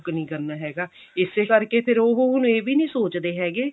book ਨੀ ਕਰਨਾ ਹੈਗਾ ਇਸੇ ਕਰਕੇ ਹੁਣ ਉਹ ਇਹ ਵੀ ਨਹੀ ਸੋਚਦੇ ਹੈਗੇ